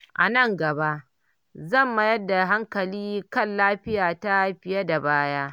A nan gaba, zan mayar da hankali kan lafiyata fiye da baya.